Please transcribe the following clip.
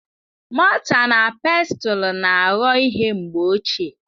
Mọta na Pestụl na-aghọ ihe mgbe ochie.